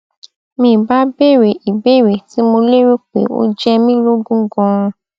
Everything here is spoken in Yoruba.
mi bá béèrè ìbéèrè tí mo lérò pé ó jẹ mi lógún ganan